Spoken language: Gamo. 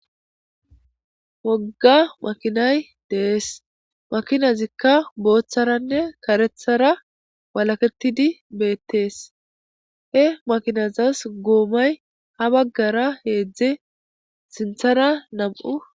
Wogga makinay dees makinazikka booththaranne karethara walaketidi beettees he makinazas goomay ha baggara heedzdze sinthara nam'u.